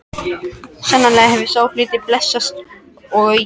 Sannarlega hefur sá hlutur blessast og aukist.